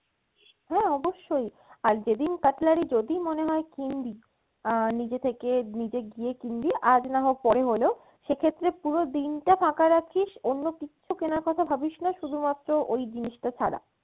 হ্যাঁ অবশ্যই আর যেদিন cutlery যদি মনে হয় কিনবি আহ নিজে থেকে নিজে গিয়ে কিনবি আজ না হোক পরে হলেও সেক্ষেত্রে পুরো দিন টা ফাঁকা রাখিস অন্য কিচ্ছু কেনার কথা ভাবিস্না শুধুমাত্র ওই জিনিসটা ছাড়া।